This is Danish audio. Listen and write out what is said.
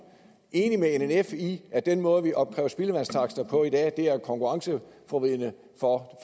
enig med nnf i at den måde vi opkræver spildevandstakster på i dag er konkurrenceforvridende for